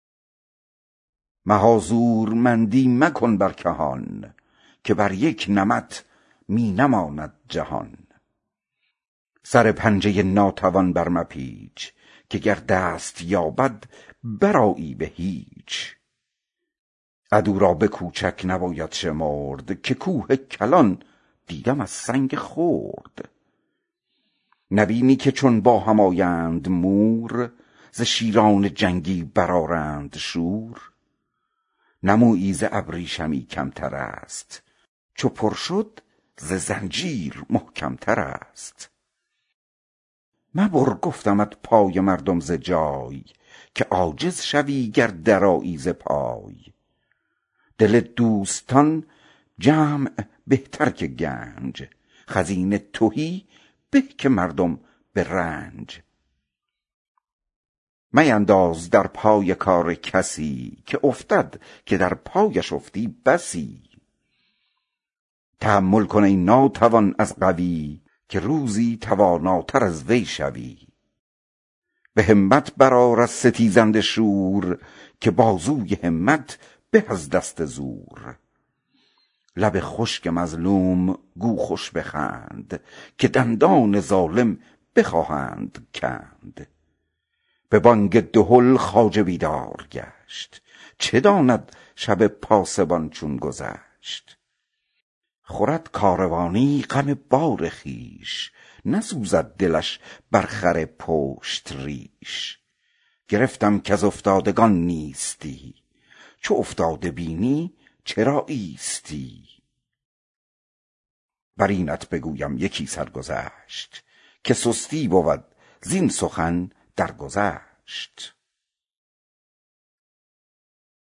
مها زورمندی مکن با کهان که بر یک نمط می نماند جهان سر پنجه ناتوان بر مپیچ که گر دست یابد برآیی به هیچ عدو را به کوچک نباید شمرد که کوه کلان دیدم از سنگ خرد نبینی که چون با هم آیند مور ز شیران جنگی برآرند شور نه موری که مویی کز آن کمتر است چو پر شد ز زنجیر محکمتر است مبر گفتمت پای مردم ز جای که عاجز شوی گر درآیی ز پای دل دوستان جمع بهتر که گنج خزینه تهی به که مردم به رنج مینداز در پای کار کسی که افتد که در پایش افتی بسی تحمل کن ای ناتوان از قوی که روزی تواناتر از وی شوی به همت برآر از ستیهنده شور که بازوی همت به از دست زور لب خشک مظلوم را گو بخند که دندان ظالم بخواهند کند به بانگ دهل خواجه بیدار گشت چه داند شب پاسبان چون گذشت خورد کاروانی غم بار خویش نسوزد دلش بر خر پشت ریش گرفتم کز افتادگان نیستی چو افتاده بینی چرا نیستی بر اینت بگویم یکی سرگذشت که سستی بود زین سخن درگذشت